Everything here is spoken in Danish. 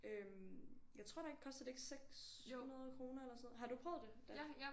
Øh jeg tror der er koster det ikke 600 kroner eller sådan noget har du prøvet det da